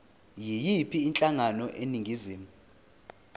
yiyiphi inhlangano eningizimu